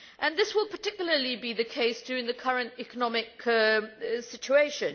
This will particularly be the case during the current economic situation.